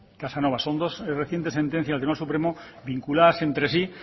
casanova son dos recientes sentencias del tribunal supremo vinculadas entre sí